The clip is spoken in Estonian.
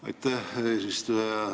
Aitäh, eesistuja!